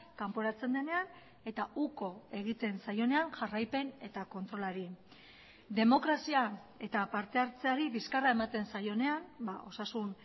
kanporatzen denean eta uko egiten zaionean jarraipen eta kontrolari demokrazia eta partehartzeari bizkarra ematen zaionean osasun